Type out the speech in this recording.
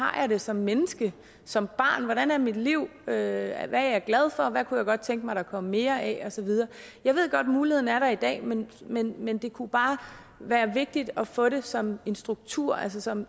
har det som menneske som barn hvordan er mit liv hvad er jeg glad for hvad kunne jeg godt tænke mig der kom mere af og så videre jeg ved godt muligheden er der i dag men men det kunne bare være vigtigt at få det som en struktur altså som